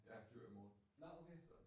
Ja, flyver i morgen. Så